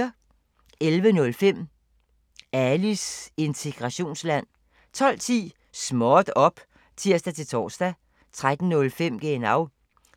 11:05: Alis integrationsland 12:10: Småt op! (tir-tor) 13:05: Genau